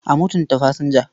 A mutunta fasinja.